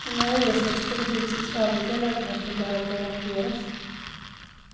Inga hyresgäster i husets övriga lägenheter behövde evakueras.